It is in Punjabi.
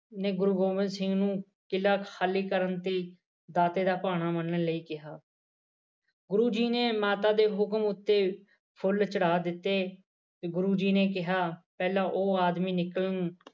ਨੇ ਗੁਰੂ ਗੋਬਿੰਦ ਸਿੰਘ ਨੂੰ ਕਿੱਲ੍ਹਾ ਖਾਲੀ ਕਰਨ ਤੇ ਦਾਤੇ ਦਾ ਭਾਣਾ ਮੰਨਣ ਲਈ ਕਿਹਾ। ਗੁਰੂ ਜੀ ਨੇ ਮਾਤਾ ਦੇ ਮੁੂੰਹ ਉੱਤੇ ਫੁੱਲ ਚੜਾ ਦਿੱਤੇ ਗੁਰੂ ਜੀ ਨੇ ਕਿਹਾ ਪਹਿਲਾ ਉਹ ਆਦਮੀ ਨਿਕਲਣ